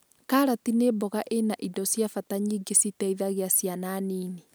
Karati nĩ mboga ĩna indo cia bata nyingĩ citeithagia ciana nini